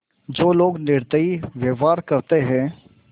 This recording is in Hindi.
जो लोग निर्दयी व्यवहार करते हैं